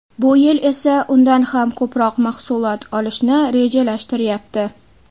Bu yil esa undan ham ko‘proq mahsulot olishni rejalashtiryapti.